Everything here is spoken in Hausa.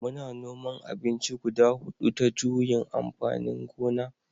Muna noman abinci guda hudu ta juyin amfanin gona